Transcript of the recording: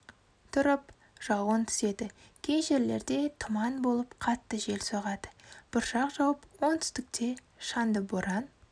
тұрып жауын түседі кей жерлерде тұман болып қатты жел соғады бұршақ жауып оңтүстіките шаңды боран